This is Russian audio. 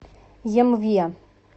емве